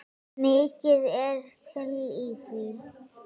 Mikið er til í því.